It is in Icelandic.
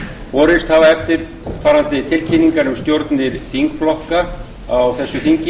borist hafa eftirfarandi tilkynningar um stjórnir þingflokka á þessu þingi